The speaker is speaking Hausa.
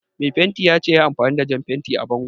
Mai fentin ya ce yayi amfani da jan fenti a bangon